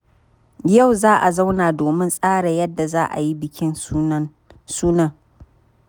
Yau za a zauna domin tsara yadda za a yi bikin sunan.